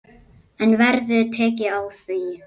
En verður tekið á því?